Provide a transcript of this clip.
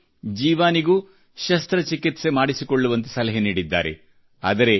ವೈದ್ಯರು ಜೀವಾನಿಗೂ ಶಸ್ತ್ರಚಿಕಿತ್ಸೆ ಮಾಡಿಸುವಂತೆ ಸಲಹೆ ನೀಡಿದ್ದಾರೆ